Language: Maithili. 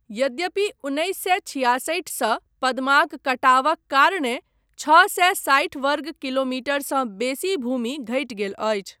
यद्यपि उन्नैस सए छिआसठि सँ पद्माक कटावक कारणेँ छओ सए साठि वर्ग किलोमीटरसँ बेसी भूमि घटि गेल अछि।